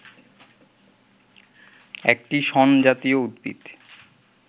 একটি শণ জাতীয় উদ্ভিদ